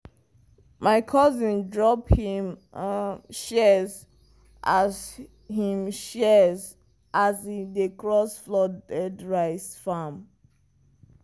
my cousin drop him shears as him shears as e dey cross flooded rice farm.